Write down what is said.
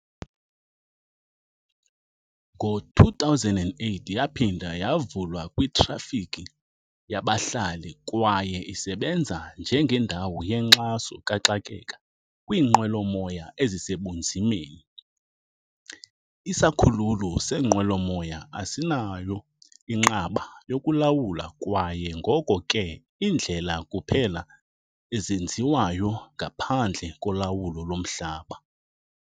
Ngo-2008 yaphinda yavulwa kwitrafikhi yabahlali kwaye isebenza njengendawo yenkxaso kaxakeka kwiinqwelomoya ezisebunzimeni. Isikhululo seenqwelomoya asinayo inqaba yokulawula kwaye ngoko ke iindlela kuphela ezenziwayo ngaphandle kolawulo lomhlaba.